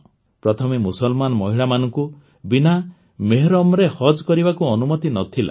ପ୍ରଥମେ ମୁସଲମାନ ମହିଳାମାନଙ୍କୁ ବିନା ମେହରମ୍ରେ ହଜ୍ କରିବାକୁ ଅନୁମତି ନ ଥିଲା